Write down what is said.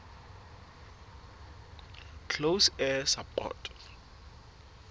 close air support